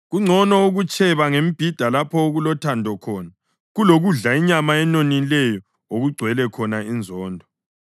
Kungcono ukutsheba ngemibhida lapho okulothando khona, kulokudla inyama enonileyo okugcwele khona inzondo.